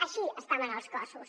així estaven els cossos